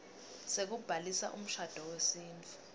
sekubhalisa umshado wesintfu